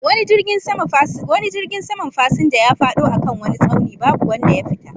Wani jirgin saman fasinja ya fado a kan wani tsauni babu wanda ya fita